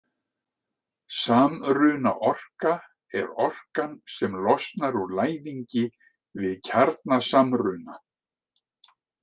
Samrunaorka er orkan sem losnar úr læðingi við kjarnasamruna.